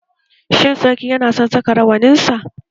Shin sarki yana son saka rawaninsa?